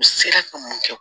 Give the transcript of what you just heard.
U sera ka mun kɛ